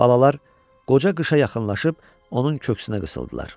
Balalar qoca qışa yaxınlaşıb, onun köksünə qısıldılar.